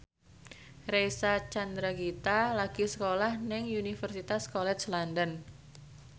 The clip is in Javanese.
Reysa Chandragitta lagi sekolah nang Universitas College London